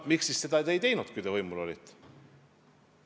Miks te siis seda ei teinud, kui te võimul olite?